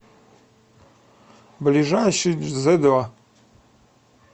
ближайший дзедо